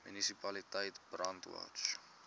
munisipaliteit brandwatch